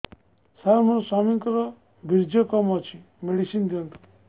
ସାର ମୋର ସ୍ୱାମୀଙ୍କର ବୀର୍ଯ୍ୟ କମ ଅଛି ମେଡିସିନ ଦିଅନ୍ତୁ